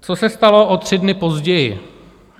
Co se stalo o tři dny později?